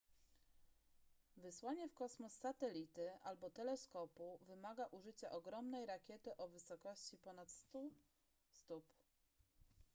wysłanie w kosmos satelity albo teleskopu wymaga użycia ogromnej rakiety o wysokości ponad 100 stóp